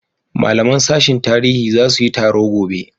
malaman sashin tarihi zasu yi taro gobe